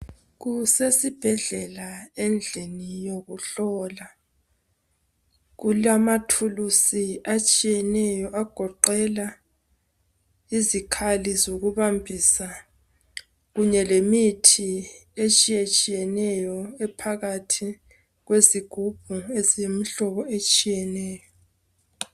Kusesibhedlela endlini yokuhlola Kulamathulusi atshiyeneyo agogela izikhali zokubambisa kunye lemithi etshiyetshiyeneyo ephakathi kwezigubhu eziyimihlobo etshiyeneyo